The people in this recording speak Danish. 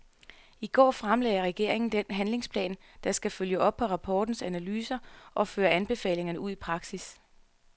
I går fremlagde regeringen den handlingsplan, der skal følge op på rapportens analyser og føre anbefalingerne ud i praksis.